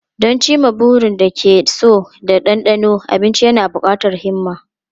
Don cimma burin da ake so da dandano abinci yana buƙatar himma.